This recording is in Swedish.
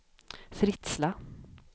Fritsla